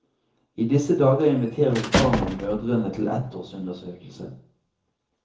I disse dager inviteres barna og mødrene til ettårsundersøkelse.